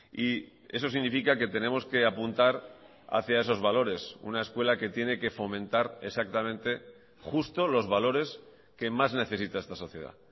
y eso significa que tenemos que apuntar hacia esos valores una escuela que tiene que fomentar exactamente justo los valores que más necesita esta sociedad